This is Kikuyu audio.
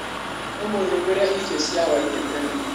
ũmũthĩ ngũria irio cia hwainĩ tene.